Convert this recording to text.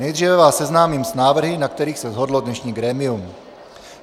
Nejdříve vás seznámím s návrhy, na kterých se shodlo dnešní grémium.